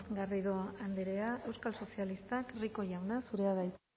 garrido andrea euskal sozialistak rico jauna zurea da hitza